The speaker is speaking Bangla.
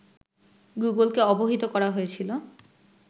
গুগলকে অবহিত করা হয়েছিল